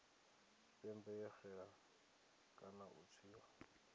tshipembe yo xela kana u tswiwa